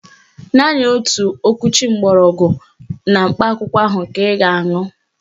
Naanị otu okwuchi gbọrọgwụ na mkpa akwụkwọ ahụ ka ị ga-aṅụ